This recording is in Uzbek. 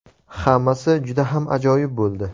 Hammasi juda ham ajoyib bo‘ldi!